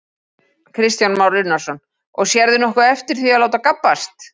Kristján Már Unnarsson: Og sérðu nokkuð eftir því að láta gabbast?